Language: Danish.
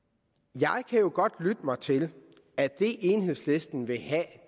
jeg kan jo godt lytte mig til at det enhedslisten vil have